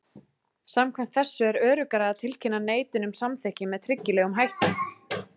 Samkvæmt þessu er öruggara að tilkynna neitun um samþykki með tryggilegum hætti.